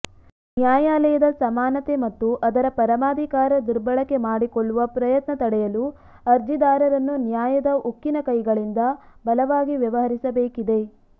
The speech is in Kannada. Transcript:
ನ್ಯಾಯಾಲಯದ ಸಮಾನತೆ ಮತ್ತು ಅದರ ಪರಮಾಧಿಕಾರ ದುರ್ಬಳಕೆ ಮಾಡಿಕೊಳ್ಳುವ ಪ್ರಯತ್ನ ತಡೆಯಲು ಅರ್ಜಿದಾರರನ್ನು ನ್ಯಾಯದ ಉಕ್ಕಿನ ಕೈಗಳಿಂದ ಬಲವಾಗಿ ವ್ಯವಹರಿಸಬೇಕಿದೆ